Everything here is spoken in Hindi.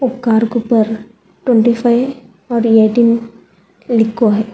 उपकार को ऊपर ट्वेंटी फाइव ओर एटीन लिखो है।